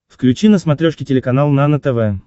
включи на смотрешке телеканал нано тв